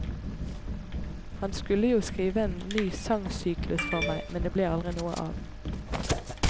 Han skulle jo skrive en ny sangsyklus for meg, men det ble aldri noe av.